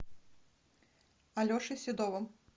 алешей седовым